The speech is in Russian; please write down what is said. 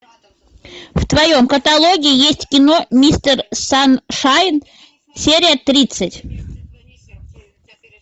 в твоем каталоге есть кино мистер саншайн серия тридцать